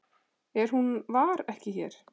En hún var ekki hér.